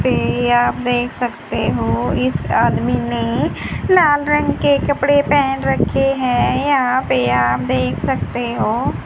पे आप देख सकते हो इस आदमी ने लाल रंग के कपड़े पहन रखे हैं यहां पे आप देख सकते हो--